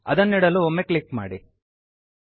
ಅದನ್ನಿಡಲು ಒಮ್ಮೆ ಕ್ಲಿಕ್ ಮಾಡಿ